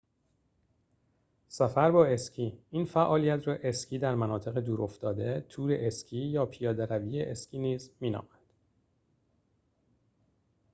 سفر با اسکی این فعالیت را اسکی در مناطق دور افتاده تور اسکی یا پیاده روی اسکی نیز می نامند